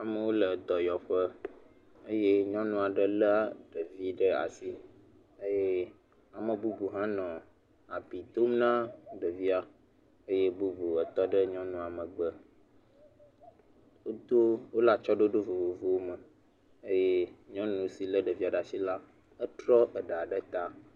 Amewo le dɔyɔƒe eye nyɔnu aɖe lé ɖevi ɖe asi eye ame bubu hã nɔ abi dom na ɖevia eye bubu tɔ ɖe nyɔnua megbe, wodo.., wole atsyɔ̃ɖoɖo vovovowo me eye nyɔnu si lé ɖevia la, etro ɖa ɖe ta.